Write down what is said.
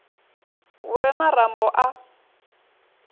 hu re na rambo a